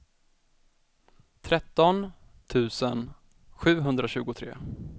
tretton tusen sjuhundratjugotre